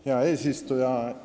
Hea eesistuja!